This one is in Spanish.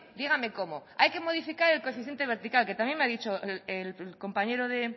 dígame cómo hay que modificar el coeficiente vertical que también me ha dicho el compañero de